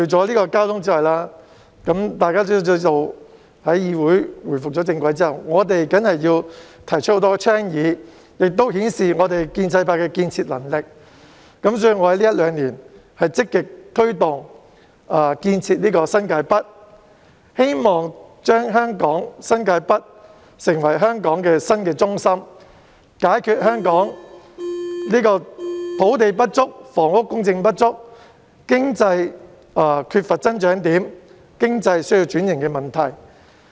大家皆知道，在議會回復正軌後，我們要提出很多交通以外的倡議，顯示建制派的建設能力，所以我在這一兩年積極推動建設新界北，希望新界北成為香港新的中心，解決香港土地不足、房屋供應不足、經濟缺乏增長點及經濟需要轉型的問題。